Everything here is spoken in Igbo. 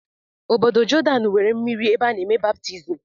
Ọbọdọ Jordan nwere mmiri ebe ana eme baptizim.